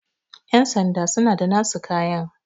yansanda suna da nasu kayan